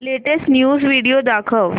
latest news video दाखव